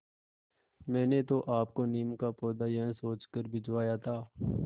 मैंने तो आपको नीम का पौधा यह सोचकर भिजवाया था